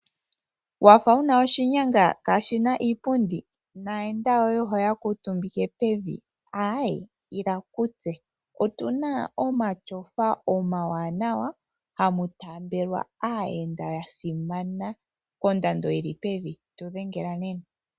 Wafa wuna oshinyaga kashina iipundi, nayenda yoye oho yakuutumbike pevi, ayee ila kutse otuna omatyofa omawanawa, hamutambelwa aayenda yasimana, kondando yili pevi, tudhengela nena.